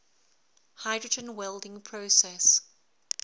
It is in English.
hydrogen welding process